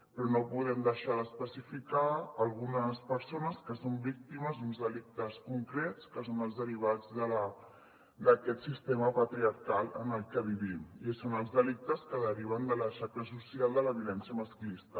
però no podem deixar d’especificar algunes persones que són víctimes d’uns delictes concrets que són els derivats d’aquest sistema patriarcal en el que vivim i són els delictes que deriven de la xacra social de la violència masclista